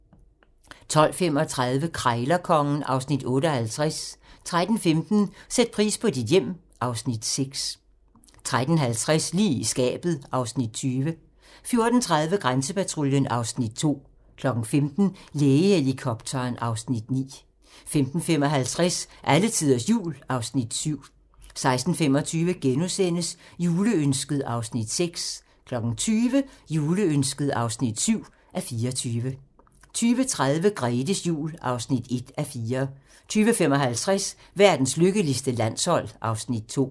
12:35: Krejlerkongen (Afs. 58) 13:15: Sæt pris på dit hjem (Afs. 6) 13:50: Lige i skabet (Afs. 20) 14:30: Grænsepatruljen (Afs. 2) 15:00: Lægehelikopteren (Afs. 9) 15:55: Alletiders Jul (Afs. 7) 16:25: Juleønsket (6:24)* 20:00: Juleønsket (7:24) 20:30: Grethes jul (1:4) 20:55: Verdens lykkeligste landshold (Afs. 2)